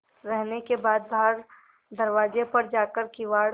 रहने के बाद बाहर दरवाजे पर जाकर किवाड़